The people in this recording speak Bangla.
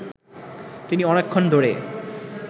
তিনি অনেকক্ষণ ধরে